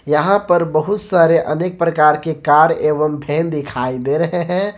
यहां पर बहुत सारे अनेक प्रकार के कार एवं वैन दिखाई दे रहे हैं।